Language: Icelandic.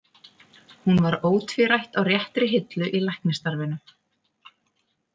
Hún var ótvírætt á réttri hillu í læknisstarfinu.